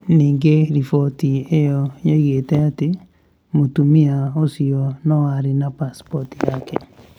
Ningĩ riboti ĩyo yoigĩte atĩ mũtumia ũcio no arĩ na pasipoti yake